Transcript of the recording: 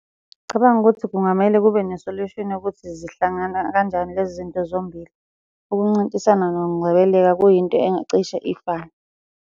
Ngicabanga ukuthi kungamele kube nesolushini yokuthi zihlangana kanjani lezi zinto zombili. Ukuncintisana nokungcebeleka kuyinto engacishe ifane.